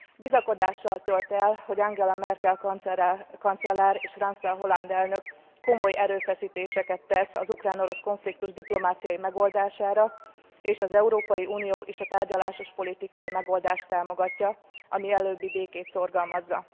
Bizakodással tölt el, hogy Angela Merkel kancellár és François Hollande elnök komoly erőfeszítéseket tesz az ukrán orosz konfliktus diplomáciai megoldására és az Európai Unió is a tárgyalásos politikai megoldást támogatja, a mielőbbi békét szorgalmazza.